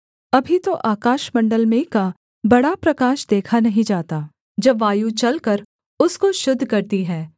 अभी तो आकाशमण्डल में का बड़ा प्रकाश देखा नहीं जाता जब वायु चलकर उसको शुद्ध करती है